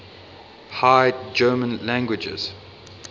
high german languages